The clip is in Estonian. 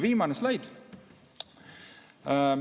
Viimane slaid.